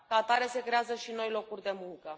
Ca atare, se creează și noi locuri de muncă.